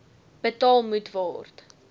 betaal moet word